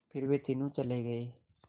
फिर वे तीनों चले गए